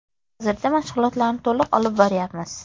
Hozirda mashg‘ulotlarni to‘liq olib boryapmiz.